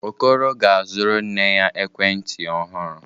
Okoro ga-azụrụ nne ya ekwentị ọhụrụ.